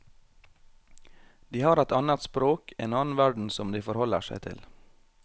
De har et annet språk, en annen verden som de forholder seg til.